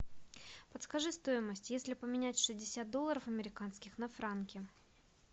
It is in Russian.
подскажи стоимость если поменять шестьдесят долларов американских на франки